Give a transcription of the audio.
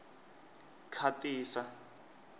khatisa